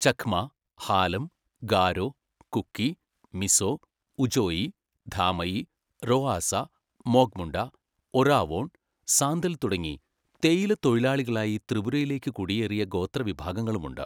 ചക്മ, ഹാലം, ഗാരോ, കുക്കി, മിസോ, ഉചോയി, ധാമയി, റൊആസ, മോഗ് മുണ്ട, ഒറാവോൺ, സാന്തൽ തുടങ്ങി തേയില തൊഴിലാളികളായി ത്രിപുരയിലേയ്ക്ക് കുടിയേറിയ ഗോത്രവിഭാഗങ്ങളുമുണ്ട്.